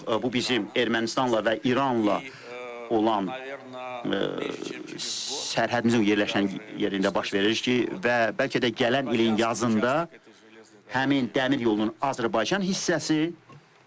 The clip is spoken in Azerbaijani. Bu bizim Ermənistanla və İranla olan sərhədimizin yerləşən yerində baş verir ki, və bəlkə də gələn ilin yazında həmin dəmir yolunun Azərbaycan hissəsi.